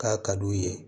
K'a ka d'u ye